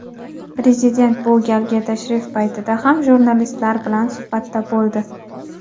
Prezident bu galgi tashrif paytida ham jurnalistlar bilan suhbatda bo‘ldi.